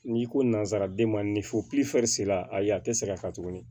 N'i ko nanzaraden ma ni fo se la a ye a tɛ segin a kan tuguni